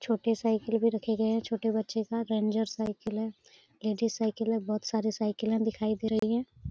छोटे साइकिल भी रखे गए हैं छोटे बच्चे का । रेंजर साइकिल है । साइकिल है । बोहोत सारी साइकिले दिखाई दे रहे हैं ।